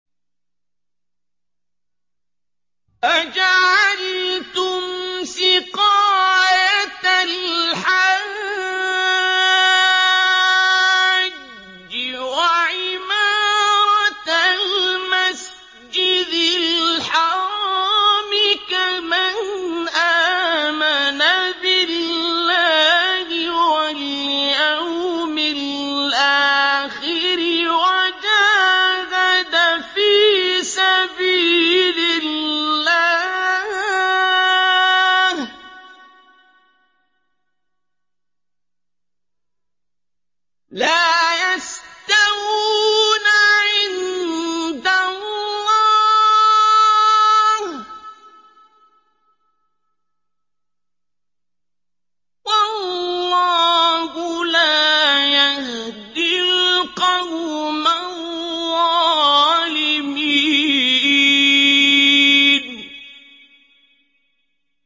۞ أَجَعَلْتُمْ سِقَايَةَ الْحَاجِّ وَعِمَارَةَ الْمَسْجِدِ الْحَرَامِ كَمَنْ آمَنَ بِاللَّهِ وَالْيَوْمِ الْآخِرِ وَجَاهَدَ فِي سَبِيلِ اللَّهِ ۚ لَا يَسْتَوُونَ عِندَ اللَّهِ ۗ وَاللَّهُ لَا يَهْدِي الْقَوْمَ الظَّالِمِينَ